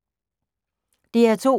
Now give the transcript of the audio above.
DR2